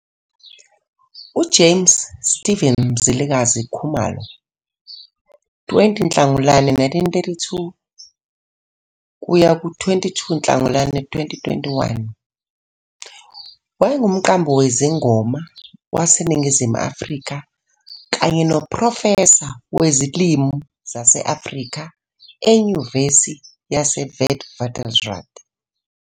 UJames Steven Mzilikazi Khumalo, 20 Nhlangulana 1932 kuya ku-22 Nhlangulana 2021, wayengumqambi wezingoma waseNingizimu Afrika kanye noprofesa wezilimi zase-Afrika eNyuvesi yaseWitwatersrand.